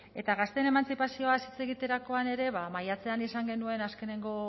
eta gazteen emantzipazioaz hitz egiterakoan ere ba maiatzean izan genuen azkeneko